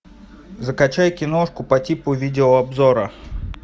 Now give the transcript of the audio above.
закачай киношку по типу видеообзора